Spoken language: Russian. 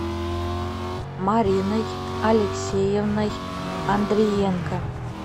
мариной алексеевной андриенко